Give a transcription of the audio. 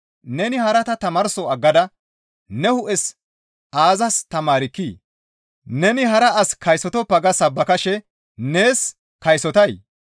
neni harata tamaarso aggada ne hu7es aazas tamaarkkii? Neni hara as kaysotoppa ga sabbakashe nees kaysotay?